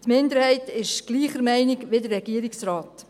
Die Minderheit ist gleicher Meinung wie der Regierungsrat.